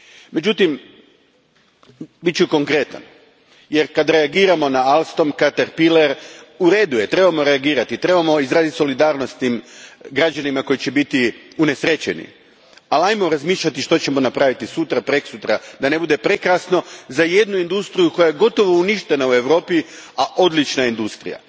Međutim, bit ću konkretan jer kad reagiramo na Alstom, Caterpillar, u redu je, trebamo reagirati, trebamo izraziti solidarnost s tim građanima koji će biti unesrećeni, ali razmišljajmo o tome što ćemo napraviti sutra, preksutra, da ne bude prekasno za jednu industriju koja je gotovo uništena u Europi, a odlična je industrija.